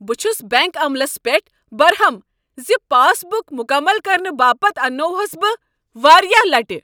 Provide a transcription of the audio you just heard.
بہٕ چھُس بینک عملس پٮ۪ٹھ برہم زِ پاس بُک مكمل كرنہٕ باپتھ اننووہس بہ واریاہہ لٹہ۔